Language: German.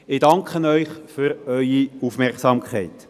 » Danke für Ihre Aufmerksamkeit.